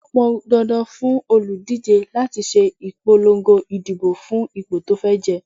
Ó pọn dandan fún òlùdíje láti ṣe ìpolongo ìdìbò fún ipò tí ó fẹ́ jẹ.